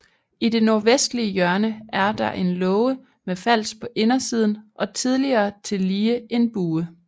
I det nordvestlige hjørne er der en låge med fals på indersiden og tidligere tillige en bue